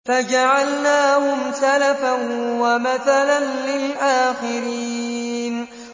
فَجَعَلْنَاهُمْ سَلَفًا وَمَثَلًا لِّلْآخِرِينَ